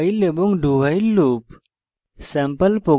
while এবং dowhile loop